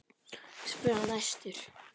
spurði hann æstur.